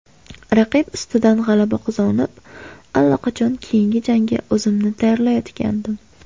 Raqib ustidan g‘alaba qozonib, allaqachon keyingi jangga o‘zimni tayyorlayotgandim.